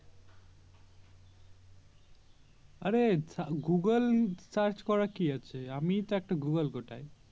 অরে Google Search করার কি আছে আমি তো একটা Google গোটাই